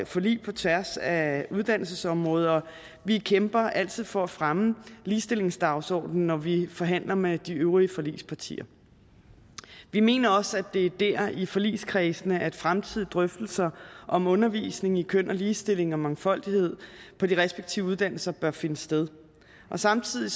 forlig på tværs af uddannelsesområdet og vi kæmper altid for at fremme ligestillingsdagsordenen når vi forhandler med de øvrige forligspartier vi mener også at det er der altså i forligskredsene at fremtidige drøftelser om undervisning i køn og ligestilling og mangfoldighed på de respektive uddannelser bør finde sted samtidig